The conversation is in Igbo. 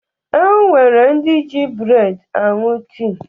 O nwere ndị ji breedi aṅụ tii